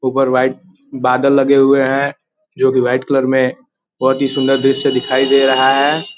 ऊपर व्हाइट बादल लगे हुए हैं जो कि व्हाइट कलर में बोहत ही सुन्दर दृश्य दिखाई दे रहा है।